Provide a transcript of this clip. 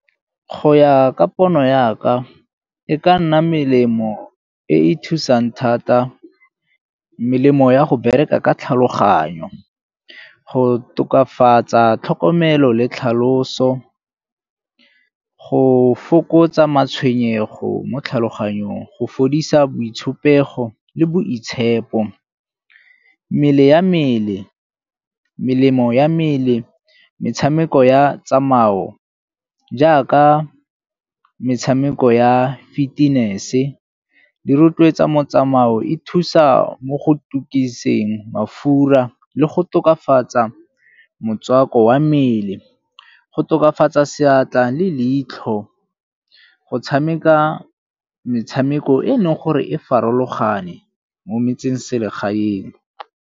Go ya ka pono ya ka, e ka nna melemo e e thusang thata, melemo ya go bereka ka tlhaloganyo. Go tokafatsa tlhokomelo le tlhaloso, go fokotsa matshwenyego mo tlhaloganyong, go fodisa boitshupego le boitshepo. Mmele ya mmele, melemo ya mmele, metshameko ya tsamayo jaaka metshameko ya fitness-e, di rotloetsa motsamao e thusa mo go tukiseng mafura le go tokafatsa motswako wa mmele, go tokafatsa seatla le leitlho, go tshameka metshameko e leng gore e farologane mo metseselegaeng.